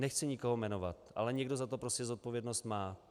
Nechci nikoho jmenovat, ale někdo za to prostě zodpovědnost má.